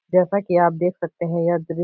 जेसा की आप देख सकते है यह द्रि --